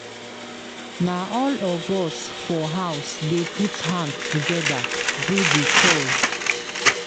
Na all of us for house dey put hand togeda do di chores.